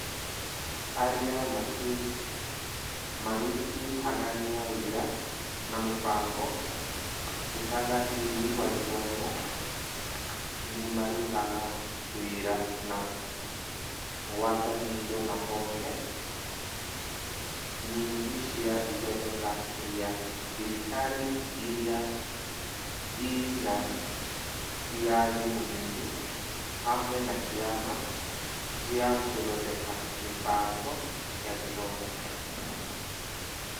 Arĩa marutithanagia wĩra na mũbango Ũtungatĩri wa Gĩthomo (MoE) nĩ marutaga wĩra na ngwatanĩro na honge nyingĩ cia ithondeka rĩa thirikari iria ĩrĩ na wĩyathi mũnini (SAGAs) hamwe na Kĩama gĩa Gũthondeka Mĩbango ya Gĩthomo (KICD)